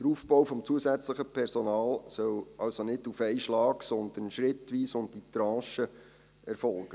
Der Aufbau des zusätzlichen Personals soll also nicht auf einen Schlag, sondern schrittweise und in Tranchen erfolgen.